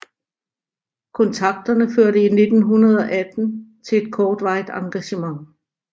Kontakterne førte i 1918 til et kortvarigt engagement